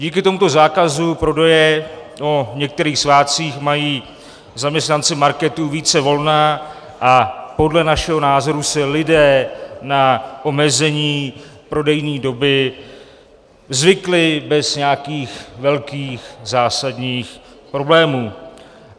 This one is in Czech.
Díky tomuto zákazu prodeje o některých svátcích mají zaměstnanci marketů více volna a podle našeho názoru si lidé na omezení prodejní doby zvykli bez nějakých velkých zásadních problémů.